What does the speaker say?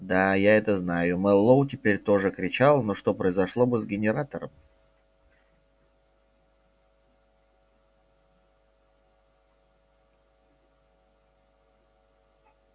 да я это знаю мэллоу теперь тоже кричал но что произошло бы с генератором